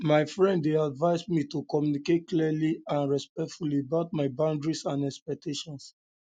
my friend dey advise me to communicate clearly and respectfully about my boundaries and expectations